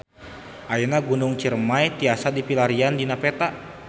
Ayeuna Gunung Ciremay tiasa dipilarian dina peta